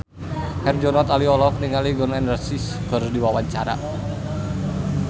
Herjunot Ali olohok ningali Gun N Roses keur diwawancara